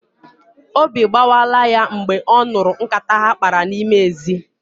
Obi gbawala ya mgbe ọ nụrụ nkata ha kpara n'ime n'ezi